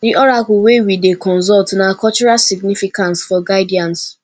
di oracle wey we dey consult na cultural significance for guidance